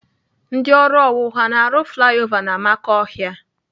Ndị ọrụ owuwu ha na-arụ flaya ova n'amakọhịa?